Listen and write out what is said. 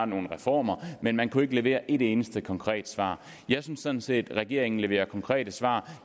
nogle reformer men man kunne ikke levere et eneste konkret svar jeg synes sådan set regeringen leverer konkrete svar